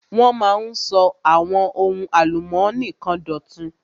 Wọ́n máa ń sọ àwọn ohun álùmónì kan dọ̀tun.